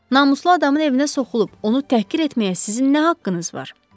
Namuslu adamın evinə soxulub onu təhqir etməyə sizin nə haqqınız var?